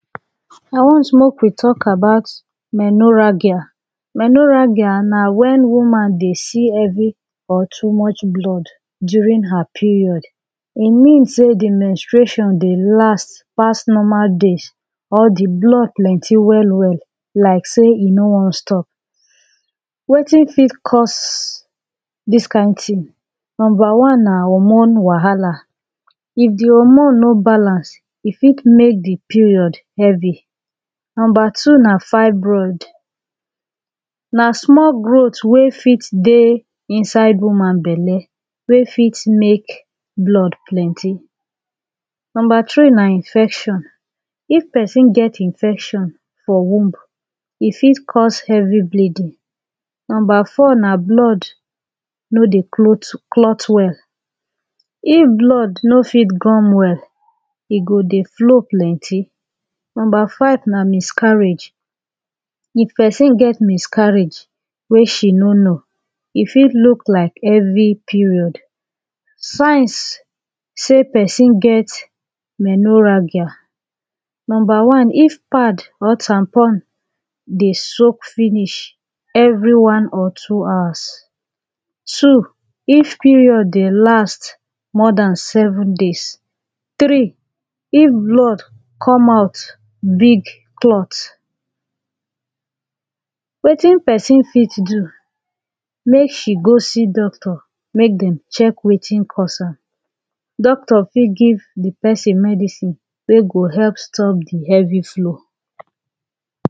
I want mek we talk about menoragia menoragia na Wen women dey see heavy or too much blood during her period e mean say de menstration dey last pass normal days or de blood plenty well well like say e no wan stop wetin fit cause dis kind tin number one na hormone wahala if de hormone no balance e fit mek dem period heavy number two na fibroid na small growth wey fit dey Inside woman belle wey fit mek blood plenty number three na infection if person get infection for womb e fit cause heavy bleeding number four na blood no dey clot well if blood no fit gum well e go dey flow plenty number five na miscarriage if person get miscarriage wey she no know e fit look like heavy period signs say person get menoragia number one if pad or tampon dey soak finish every one or two hours two if period dey last more than seven days three if blood com out big clot wetin person fit do mek she go see doctor mek dem check wetin cause am doctor fit give de person medicine wey go help stop de heavy flow